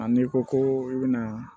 A n'i ko ko i bɛna